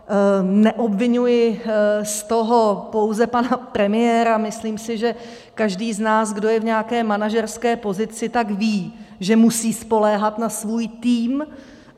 Neobviňuji z toho pouze pana premiéra, myslím si, že každý z nás, kdo je v nějaké manažerské pozici, tak ví, že musí spoléhat na svůj tým.